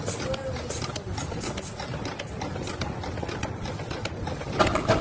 и стоило ли спорить спросил старик картинно разведя руками